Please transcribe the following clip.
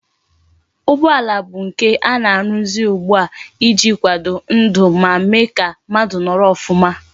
Ụgbọala bụ nke ana aruzi ugbua iji akwado ndu ma Mee ka mmadu noro ofuma